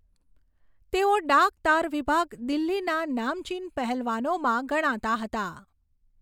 તેઓ ડાક તાર વિભાગ દિલ્હીના નામચીન પહેલવાનોમાં ગણાતા હતા.